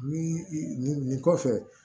Ni i nin kɔfɛ